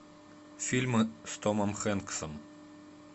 фильмы с томом хэнксом